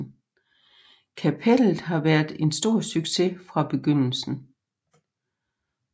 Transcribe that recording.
Kapellet har været en stor succes fra begyndelsen